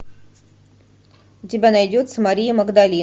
у тебя найдется мария магдалина